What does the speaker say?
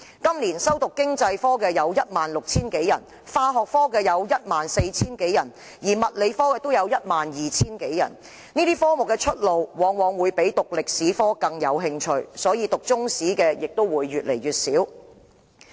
今年修讀經濟科有 16,000 多人，化學科有 14,000 多人，而物理科也有 12,000 多人，這些科目的出路往往較歷史科闊，以致修讀中史科的人數越來越少。